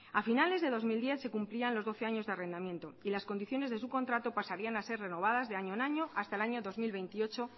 a finales de dos mil diez se cumplían los doce años de arrendamiento y las condiciones de su contrato pasarían a ser renovadas de año en año hasta el año dos mil veintiocho